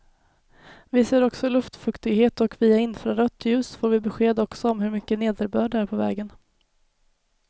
Vi ser också luftfuktighet och via infrarött ljus får vi besked också om hur mycket nederbörd det är på vägen.